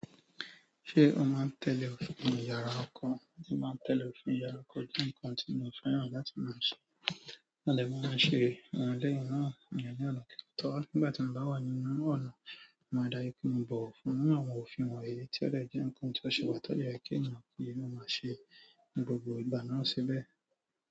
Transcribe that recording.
Ṣé o máa ń tẹ́lẹ̀ òfin iyàrá ọkọ? Mo si máa ń tẹ́lẹ̀ òfin iyàrá ọkọ jẹ nǹkan tí mo fẹ́ràn láti máa ṣe. Lẹ́ẹ̀mọ ọn ṣe ò hun lẹ́yìn náà ìyẹn ní ọ̀nà kì totọ̀. Nígbà tí mo bá wà nínú ọ̀nà, máa dárí kí mo bọ̀ fún àwọn òfin wọ̀nyí tí ó dẹ jẹ́ ǹkan tí ó ṣe pàtàkì kí ẹnìkan kí i mo máa ṣe ní gbogbo ìgbà náà síbẹ̀.